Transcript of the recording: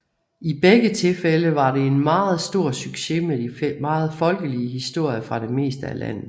I begge tilfælde var det en meget stor succes med de meget folkelige historier fra det meste af landet